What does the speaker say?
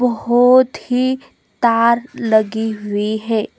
बोहोत ही तार लगी हुई है।